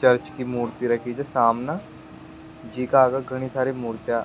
church की मूर्ति रखी छे सामने जीका आगे घनी सारी मुर्तियाँ --